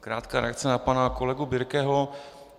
Krátká reakce na pana kolegu Birkeho.